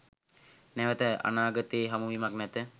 නැවත අනාගතයේ හමුවීමක් නැත